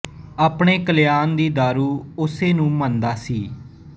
ਆਪਣੇ ਕਲਿਆਣ ਦੀ ਦਾਰੂ ਉਸੇ ਨੂੰ ਮੰਨਦਾ ਸੀ